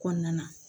Kɔnɔna na